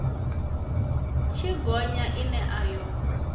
tshi gonya ine a yo